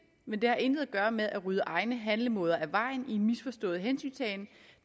men det har intet at gøre med at rydde egne handlemåder af vejen i en misforstået hensyntagen